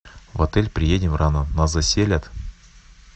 в отель приедем рано нас заселят